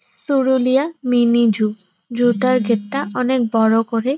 Suruliya mini zoo zoo টার gate টা অনেক বড় করে --